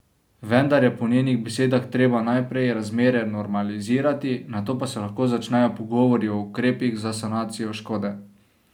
Vendar je po njenih besedah treba najprej razmere normalizirati, nato pa se lahko začnejo pogovori o ukrepih za sanacijo škode.